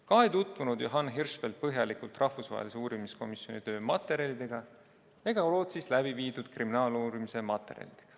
Ka ei tutvunud Johan Hirschfeldt põhjalikult rahvusvahelise uurimiskomisjoni töö materjalidega ega Rootsis läbiviidud kriminaaluurimise materjalidega.